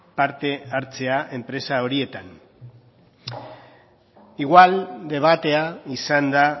parte hartzea enpresa horietan igual debatea izan da